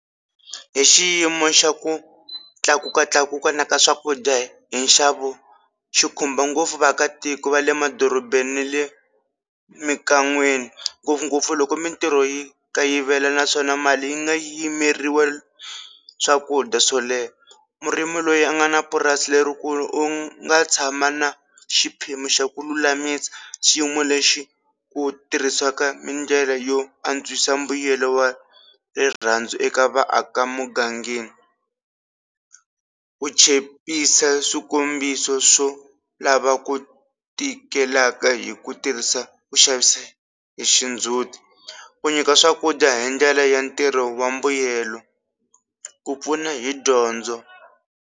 Hi xiyimo xa ku tlakukatlakuka na ka swakudya hi nxavo xikhumba ngopfu vaakatiko va le madorobeni na le mikan'weni ngopfungopfu loko mintirho yi kayivela naswona mali yi nga yimeriwe swakudya swo leha, murimi loyi a nga na purasi lerikulu u nga tshama na xiphemu xa ku lulamisa xiyimo lexi ku tirhisaka mindlela yo antswisa mbuyelo wa rirhandzu eka vaaka mugangeni, ku chepisa swikombiso swo lava ku tikelaka hi ku tirhisa ku xavisa hi xindzuti ku nyika swakudya hi ndlela ya ntirho wa mbuyelo ku pfuna hi dyondzo.